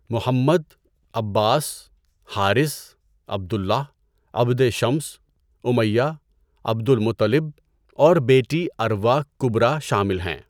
محمد، Abbas, Harith, Abdullah, Abd Shams, Umayyah, Abdul Muttalib اور بیٹی Arwa Kubra شامل ہیں۔